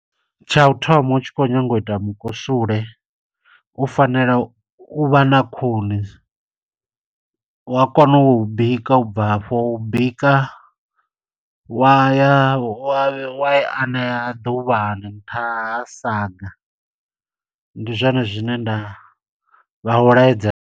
Tsha u thoma u tshi khou nyanga u ita mukusule, u fanela u vha na khuni. Wa kona u bika u bva afho, u bika wa ya wa i aṋea ḓuvhani nṱha ha saga. Ndi zwone zwine nda vha u laedza.